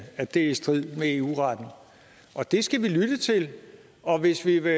at det er i strid med eu retten og det skal vi lytte til og hvis vi vil